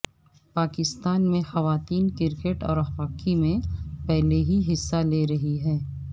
پاکستان میں خواتین کرکٹ اور ہاکی میں پہلے ہی حصہ لے رہی ہیں